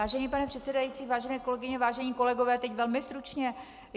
Vážený pane předsedající, vážené kolegyně, vážení kolegové, teď velmi stručně.